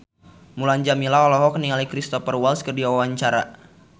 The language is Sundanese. Mulan Jameela olohok ningali Cristhoper Waltz keur diwawancara